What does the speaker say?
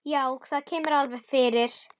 Já, það kemur alveg fyrir.